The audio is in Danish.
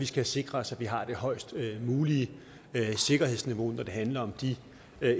skal sikre os at vi har det højest mulige sikkerhedsniveau når det handler om de